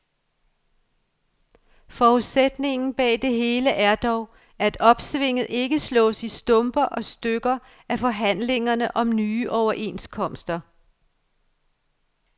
Forudsætningen bag det hele er dog, at opsvinget ikke slås i stumper og stykker af forhandlingerne om nye overenskomster.